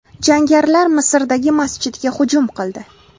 Jangarilar Misrdagi masjidga hujum qildi.